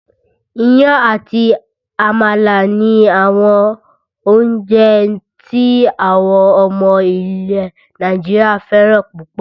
Iyán àti àmàlà ni àwọn oúnjẹ tí àwọn ọmọ ilẹ̀ Nàìjíríà fẹ́ràn púpọ̀